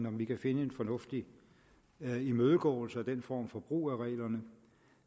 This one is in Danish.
om vi kan finde en fornuftig imødegåelse af den form for brug af reglerne